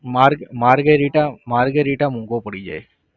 marge~ margherita margherita મોઘો પડી જાય.